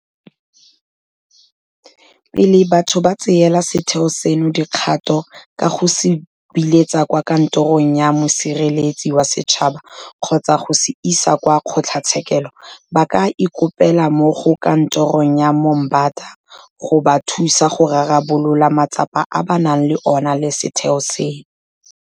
Pele batho ba tseela setheo seno dikgato ka go se buletsa kwa Kantorong ya Mosireletsi wa Setšhaba kgotsa go se isa kwa kgotlatshekelo, ba ka ikopela mo go Kantoro ya Moombata go ba thusa go rarabolola matsapa a ba nang le ona le setheo seno.